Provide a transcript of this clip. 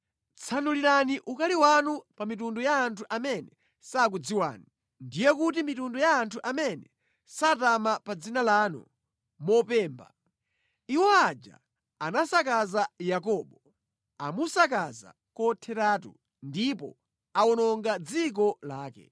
Tsanulirani ukali wanu pa mitundu ya anthu amene sakudziwani, ndiye kuti mitundu ya anthu amene satama pa dzina lanu mopemba. Iwo aja anasakaza Yakobo; amusakaza kotheratu ndipo awononga dziko lake.